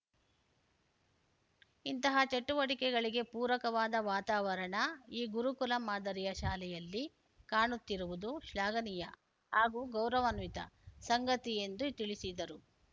ಇಂತಹ ಚಟುವಟಿಕೆಗಳಿಗೆ ಪೂರಕವಾದ ವಾತಾವರಣ ಈ ಗುರುಕುಲ ಮಾದರಿಯ ಶಾಲೆಯಲ್ಲಿ ಕಾಣುತ್ತಿರುವುದು ಶ್ಲಾಘನೀಯ ಹಾಗೂ ಗೌರವಾನ್ವಿತ ಸಂಗತಿ ಎಂದು ತಿಳಿಸಿದರು